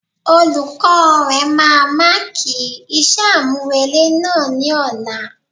Olukọ̀ọ́ rẹ̀ máa máàkì iṣẹ́ àmúrelé náà ni ọ̀la.